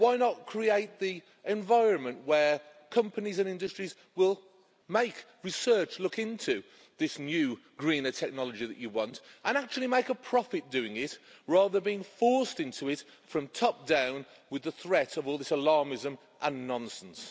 Why not create an environment where companies and industries will make research look into this new greener technology that you want and actually make a profit doing it, rather than being forced into it from top down with the threat of all this alarmism and nonsense.